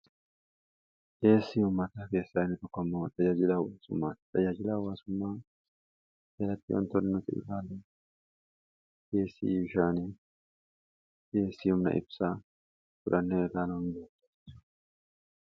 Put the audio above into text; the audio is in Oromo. dheessii humataa keessaa iinii tokkoo adajaajiilaa waasummaaa xajaajiilaa waasummaa jalattii wantolni nuti ilaalu keesii bishaanii deessiihumna ibsaa turani raanuutu.